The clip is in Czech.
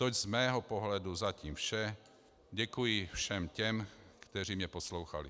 Toť z mého pohledu zatím vše, děkuji všem těm, kteří mě poslouchali.